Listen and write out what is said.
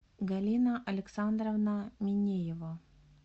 галина александровна минеева